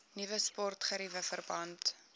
nuwe sportgeriewe verband